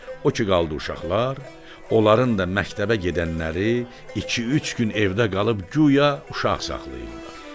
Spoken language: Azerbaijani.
O ki qaldı uşaqlar, onların da məktəbə gedənləri iki-üç gün evdə qalıb guya uşaq saxlayırlar.